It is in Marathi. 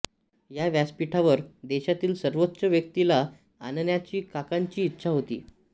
या व्यासपीठावर देशातील सर्वोच्च व्यक्तीला आणण्याची काकांची इच्छा होती